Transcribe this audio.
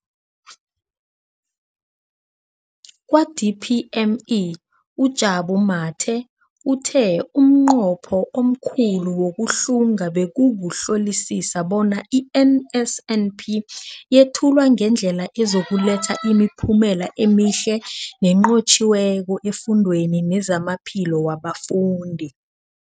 Kwa-DPME, uJabu Mathe, uthe umnqopho omkhulu wokuhlunga bekukuhlolisisa bona i-NSNP yethulwa ngendlela ezokuletha imiphumela emihle nenqotjhiweko efundweni nezamaphilo wabafundi.